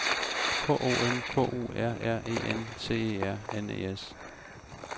K O N K U R R E N C E R N E S